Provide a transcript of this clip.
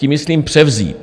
Tím myslím převzít.